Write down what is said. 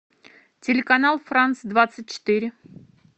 телеканал франс двадцать четыре